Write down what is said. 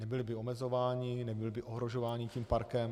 Nebyli by omezováni, nebyli by ohrožováni tím parkem.